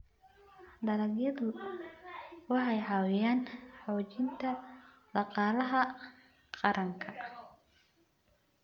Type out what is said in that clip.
Dalagyadu waxay caawiyaan xoojinta dhaqaalaha qaranka.